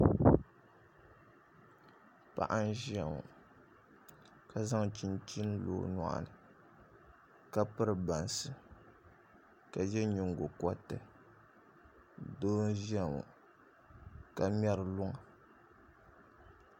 Paɣa n ʒiya ŋo ka zaŋ chinchin lo o nyoɣu ni ka piri bansi ka yɛ nyingokoriti doo n ʒiya ŋo ka ŋmɛri luŋa